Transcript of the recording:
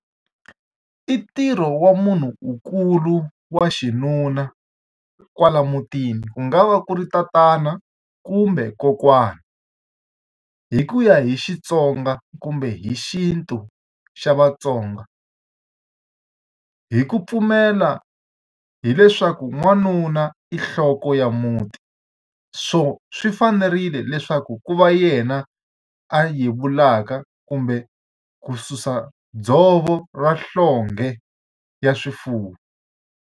I ntirho wa munhunkulu wa xinuna kwala mutini, ku nga va ku ri tatana kumbe kokwani. Hi ku ya hi Xitsonga kumbe hi xintu xa Vatsonga, hi ku pfumela hileswaku n'wanuna i nhloko ya muti. So swi fanerile leswaku ku va yena a yevulaka kumbe ku susa dzovo ra nhlonge ya swifuwo.